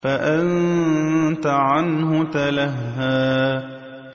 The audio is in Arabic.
فَأَنتَ عَنْهُ تَلَهَّىٰ